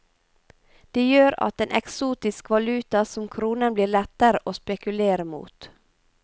Det gjør at en eksotisk valuta som kronen blir lettere å spekulere mot.